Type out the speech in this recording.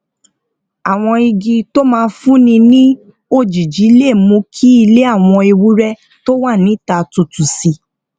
àwọn igi tó máa fúnni ní òjìji lè mú kí ilé àwọn ewúré tó wà níta tútù sí